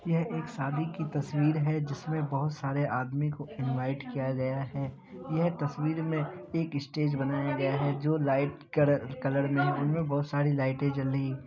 यह एक शादी की तस्वीर है जिसमे बहुत सारे आदमी को इनवाइट किया गया है। यह तस्वीर में एक स्टेज बनाया गया है जो लाइट कड__ कलड में है उनमें बहुत सारी लाइटें जल रही ---